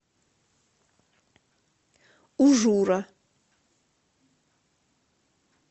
ужура